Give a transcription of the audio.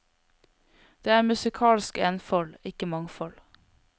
Det er musikalsk enfold, ikke mangfold.